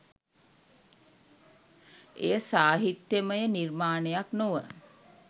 එය සාහිත්‍යමය නිර්මාණයක් නොව